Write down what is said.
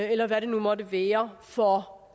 eller hvad det nu måtte være for